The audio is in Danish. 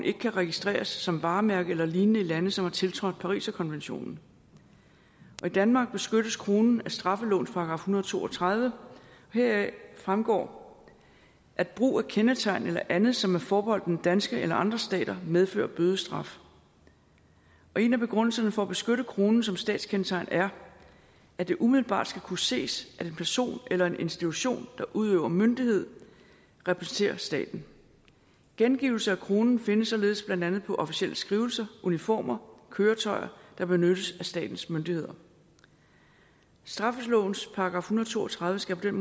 ikke kan registreres som varemærke eller lignende i lande som har tiltrådt pariserkonventionen i danmark beskyttes kronen af straffelovens § en hundrede og to og tredive heraf fremgår at brug af kendetegn eller andet som er forbeholdt den danske eller andre stater medfører bødestraf en af begrundelserne for at beskytte kronen som statskendetegn er at det umiddelbart skal kunne ses at en person eller en institution der udøver myndighed repræsenterer staten gengivelse af kronen findes således blandt andet på officielle skrivelser uniformer og køretøjer der benyttes af statens myndigheder straffelovens § en hundrede og to og tredive skal på den